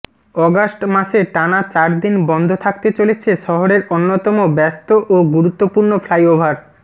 August মাসে টানা চারদিন বন্ধ থাকতে চলেছে শহরের অন্যতম ব্যস্ত ও গুরুত্বপূর্ণ ফ্লাইওভার